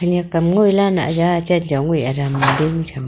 khenek am ngoi lah nah za ang chen chong e atam ding tham.